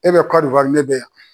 E bɛ Kɔdiwari ne bɛ yan.